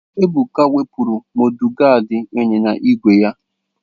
Ebuka wepụrụ Modugadi ịnyịnya ígwè ya.